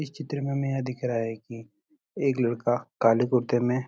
इस चित्र में हमें यह दिख रहा है कि एक लड़का काले कुर्ते में --